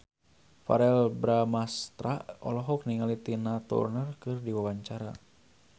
Verrell Bramastra olohok ningali Tina Turner keur diwawancara